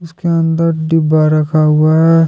के अंदर डिब्बा रखा हुआ है।